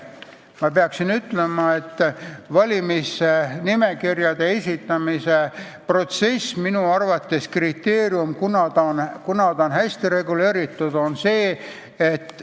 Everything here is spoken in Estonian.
Ma pean ütlema, et valimisnimekirjade esitamine on minu arvates see kriteerium, kas protsess on hästi reguleeritud.